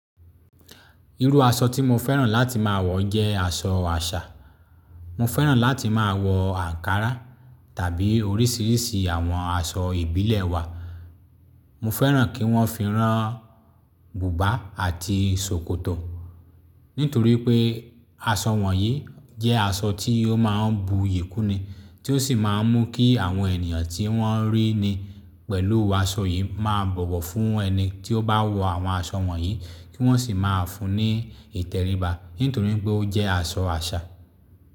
Irú aṣọ tí mo fẹ́ràn láti máa wọ jẹ́ aṣọ àṣà. Mo fẹ́ràn láti máa wọ ankara tàbí oríṣiríṣi àwọn aṣọ ìbílẹ̀ wa. Mo fẹ́ràn kí wọ́n fi rán bùbá àti ṣòkòtò. Nítorí pé aṣọ wọ̀nyí jẹ́ aṣọ tí ó máa ń bu iyì kúnni, tí ó sì máa ń mú kí àwọn ènìyàn tí wọ́n rí ni pẹ̀lú aṣọ yìí máa bọ̀wọ̀ fún ẹni tí ó bá wọ àwọn aṣọ wọ̀nyí, kí wọ́n sì máa fún un ní ìtẹríba nítorí pé ó jẹ́ aṣọ àṣà.